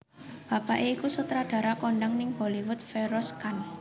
Bapaké iku sutradara kondhang ning Bollywood Feroz Khan